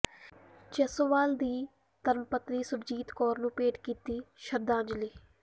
ਜੱਸੋਵਾਲ ਦੀ ਧਰਮਪਤਨੀ ਸੁਰਜੀਤ ਕੌਰ ਨੂੰ ਭੇਟ ਕੀਤੀ ਸ਼ਰਧਾਂਜਲੀ